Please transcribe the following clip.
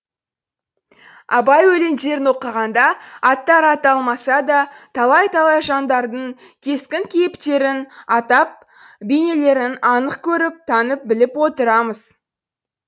абай өлеңдерін оқығанда аттары аталмаса да талай талай жандардың кескін кейіптерін адам бейнелерін анық көріп танып біліп отырамыз